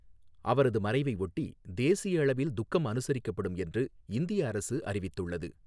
அவரது மறைவை ஒட்டி தேசிய அளவில் துக்கம் அனுசரிக்கப்படும் என்று இந்திய அரசு அறிவித்துள்ளது.